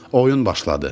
Oyun başladı.